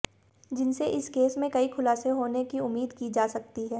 जिनसे इस केस में कई खुलासे होने की उम्मीद की जा सकती है